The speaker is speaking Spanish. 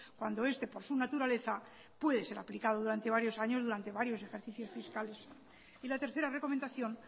cuando este por su naturaleza puede ser aplicado durante varios años durante varios ejercicios fiscales y la tercera recomendación